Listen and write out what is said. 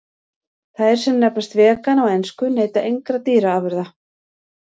Þær sem nefnast vegan á ensku neyta engra dýraafurða.